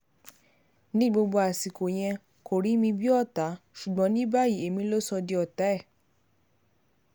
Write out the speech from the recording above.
ní gbogbo àsìkò yẹn kò rí mi bíi ọ̀tá ṣùgbọ́n ní báyìí èmi ló sọ di ọ̀tá ẹ̀